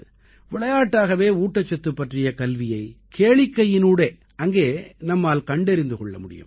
விளையாட்டாகவே ஊட்டச்சத்து பற்றிய கல்வியை கேளிக்கையினூடே அங்கே நம்மால் கண்டறிந்து கொள்ள முடியும்